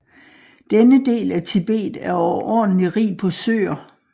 Denne del af Tibet er overordentlig rig på søer